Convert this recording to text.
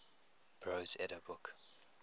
prose edda book